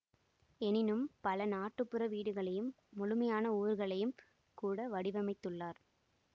எனினும் பல நாட்டுப்புற வீடுகளையும் முழுமையான ஊர்களையும் கூட வடிவமைத்துள்ளார்